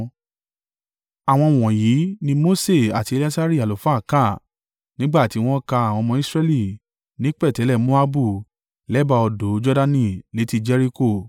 Àwọn wọ̀nyí ni Mose àti Eleasari àlùfáà kà nígbà tí wọ́n ka àwọn ọmọ Israẹli ní pẹ̀tẹ́lẹ̀ Moabu lẹ́bàá odò Jordani létí Jeriko.